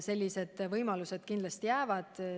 Sellised võimalused kindlasti jäävad.